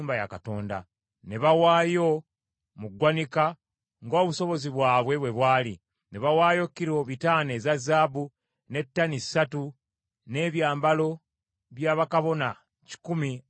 Ne bawaayo mu ggwanika ng’obusobozi bwabwe bwe bwali; ne bawaayo kilo bitaano eza zaabu (500), ne tani ssatu (3), n’ebyambalo bya bakabona kikumi (100) mu ggwanika.